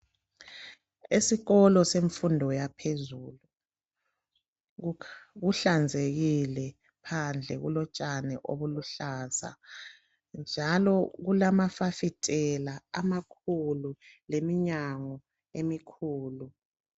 Esikolo semfundo yaphezulu kuhlanzekile, phandle kulotshani obuluhlaza njalo kulamafasitela amakhulu leminyango emikhulu.